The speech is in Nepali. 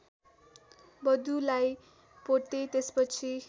वधुलाई पोते त्यसपछि